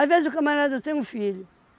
vezes o camarada tem um filho.